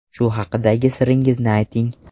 Shu haqidagi siringizni ayting.